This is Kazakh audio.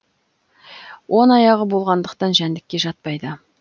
он аяғы болғандықтан жәндікке жатпайды